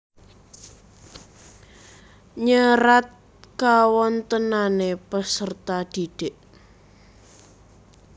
Nyerat kawontenane peserta didik